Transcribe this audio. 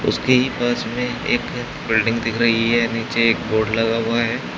उसके पास में एक बिल्डिंग दिख रहीं हैं नीचे एक बोर्ड लगा हुआ है।